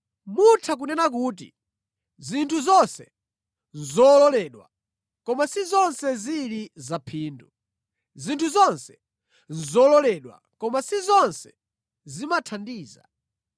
Mutha kunena kuti, “Zinthu zonse nʼzololedwa,” komatu si zonse zili za phindu. “Zinthu zonse nʼzololedwa,” komatu si zonse zimathandiza.